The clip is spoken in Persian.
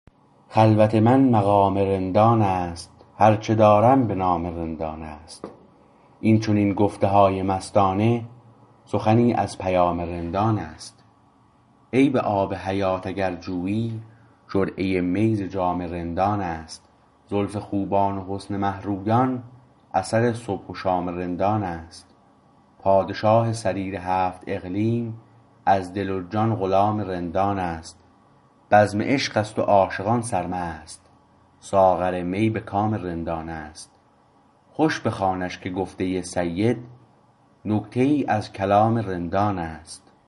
خلوت من مقام رندانست هر چه دارم به نام رندان است این چنین گفتهای مستانه سخنی از پیام رندان است عین آب حیات اگر جویی جرعه می ز جام رندان است زلف خوبان و حسن مه رویان اثر صبح و شام رندان است پادشاه سریر هفت اقلیم از دل و جان غلام رندان است بزم عشقست و عاشقان سرمست ساغر می به کام رندان است خوش بخوانش که گفته سید نکته ای از کلام رندان است